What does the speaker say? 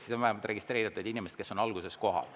Siis on vähemalt registreeritud need inimesed, kes on alguses kohal.